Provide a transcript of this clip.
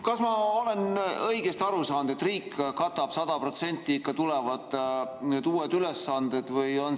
Kas ma olen õigesti aru saanud, et riik katab 100% ka need uued ülesanded?